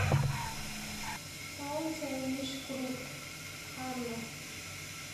солнце лишь круг ханна